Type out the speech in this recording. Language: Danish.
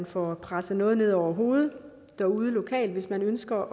få presset noget ned over hovedet derude lokalt hvis man ønsker